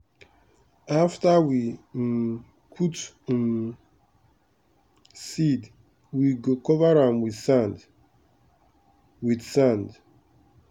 after we um put um seed we go cover am with sand. with sand.